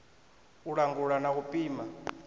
u langula na u pima